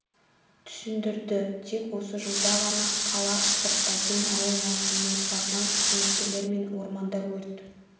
түсіндірді тек осы жылда ғана қала сыртта дем алу маусымның басынан қызметкерлерімен орманда өрт